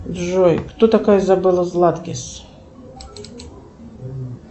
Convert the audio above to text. джой кто такая изабелла златкис